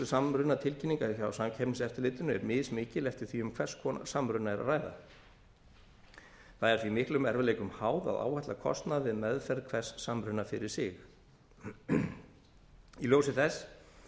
samrunatilkynninga hjá samkeppniseftirlitinu er mismikil eftir því um hvers konar samruna er að ræða það er því miklum erfiðleikum háð að áætla kostnað við meðferð hvers samruna fyrir sig í ljósi þess